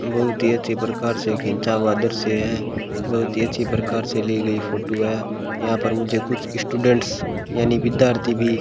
बहुत ही अच्छे प्रकार से खींचा हुआ दृश्य ये बहुत ही अच्छी प्रकार से ली गई फोटू है यहाँ पर मुझे कुछ यी स्टूडंट्स यानी विद्यार्थी भीं --